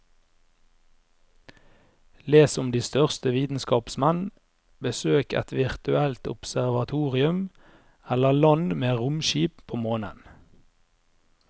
Les om de største vitenskapsmenn, besøk et virtuelt observatorium eller land med romskip på månen.